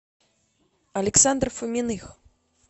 александр фоминых